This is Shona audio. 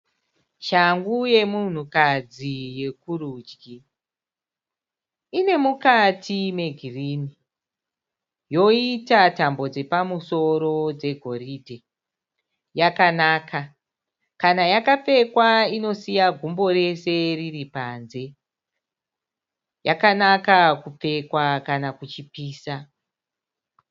Shangu yemunhukadzi yekurudyi. Ine mukati megirini yoita tambo dzepamusoro dzegoridhe. Yakanaka. Kana yakapfekwa inosiya gumbo rese riri panze. Yakanaka kupfekwa kana kuchipisa.